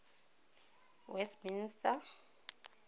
westminster